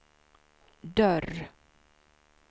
dörr